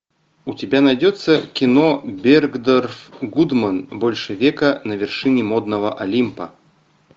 у тебя найдется кино бергдорф гудман больше века на вершине модного олимпа